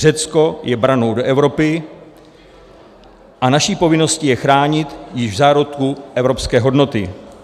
Řecko je branou do Evropy a naší povinností je chránit již v zárodku evropské hodnoty.